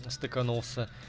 стыканулся